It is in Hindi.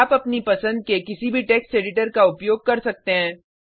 आप अपने पसंद के किसी भी टेक्स एडिटर का उपयोग कर सकते हैं